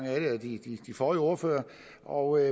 af de forrige ordførere og i